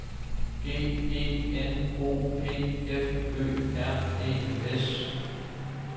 G E N O P F Ø R E S